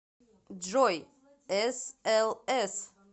джой эс эл эс